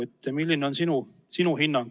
Milline on sinu hinnang?